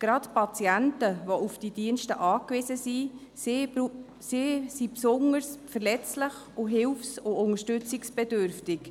Gerade Patienten, die auf diese Dienste angewiesen sind, sind besonders verletzlich und hilfs- sowie unterstützungsbedürftig.